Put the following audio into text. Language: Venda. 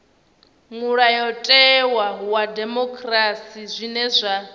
mulayotewa wa dimokirasi zwine zwa